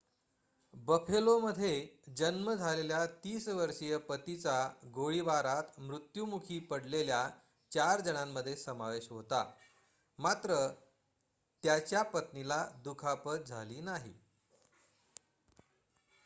बफेलोमध्ये जन्म झालेल्या ३० वर्षीय पतीचा गोळीबारात मृत्युमुखी पडलेल्या चार जणांमध्ये समावेश होता मात्र त्याच्या पत्नीला दुखापत झाली नाही